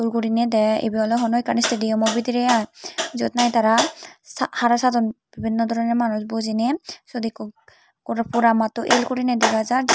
uguriney dey ebey oley hono ekan stadium bediri aaj jeyot nahi tara hara sadon bebeno drone manus bujiney seyot seyo eko korapuramotun el guti dega jar.